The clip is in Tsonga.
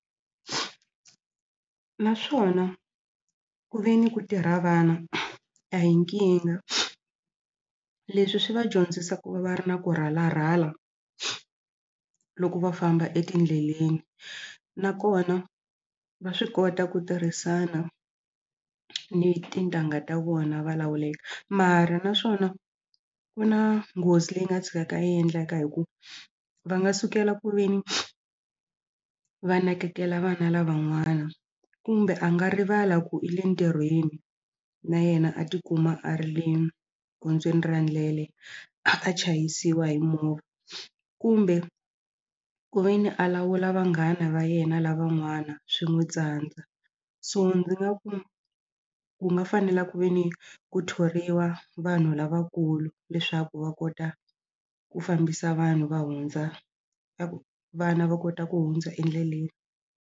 Naswona ku ve ni ku tirha vana a hi nkingha leswi swi va dyondzisa ku va va ri na ku rhalarhala loko va famba etindleleni nakona va swi kota ku tirhisana ni tintangha ta vona va mara naswona ku na nghozi leyi nga tshukaka yi endleka hikuva va nga sukela ku ve ni va nakekela vana lavan'wana kumbe a nga rivala ku i le ntirhweni na yena a tikuma a ri le gondzweni ra ndlele a chayisiwa hi movha kumbe ku ve ni a lawula vanghana va yena lavan'wana swi n'wi tsandza so ndzi nga ku ku nga fanela ku ve ni ku thoriwa vanhu lavakulu leswaku va kota ku fambisa vanhu va hundza vana va kota ku hundza endleleni.